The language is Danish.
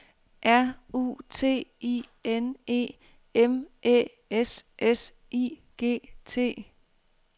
R U T I N E M Æ S S I G T